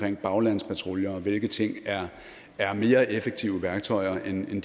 en baglandspatrulje og hvilke ting der er mere effektive værktøjer end dem